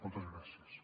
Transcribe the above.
moltes gràcies